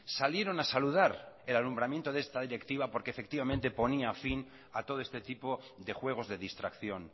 salieron a saludar el alumbramiento de esta directiva porque efectivamente ponía fin a todo este tipo de juegos de distracción